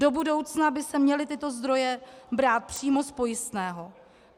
Do budoucna by se měly tyto zdroje brát přímo z pojistného.